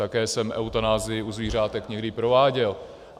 Také jsem eutanazii u zvířátek někdy prováděl.